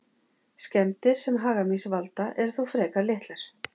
Skemmdir sem hagamýs valda eru þó frekar litlar.